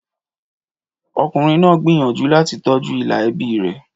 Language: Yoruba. Ọkùnrin náà gbìyànjú láti tọ́jú ìlà ẹbí rẹ̀.